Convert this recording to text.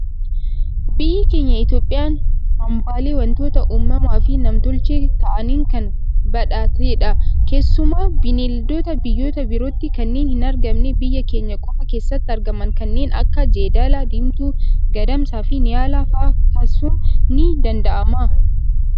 Biyyi keenya Itoophiyaan hambaalee waantota uumamaa fi namtolchee ta'aniin kan badhaatedha. Keessumaa Bineeldota biyyoota birootti kanneen hin argamne, biyya keenya qofa keessatti argaman kanneen akka jeedala diimtuu, Gadamsa fi Niyaalaa fa'aa kaasuun ni danda'ama.